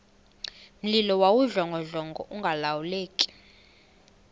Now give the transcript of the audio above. mlilo wawudlongodlongo ungalawuleki